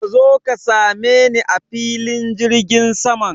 Ka zo ka sameni a filin jirgin saman.